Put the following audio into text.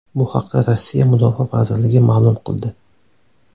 Bu haqda Rossiya mudofaa vazirligi ma’lum qildi .